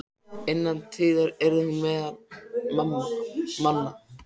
Innan tíðar yrði hún meðal manna.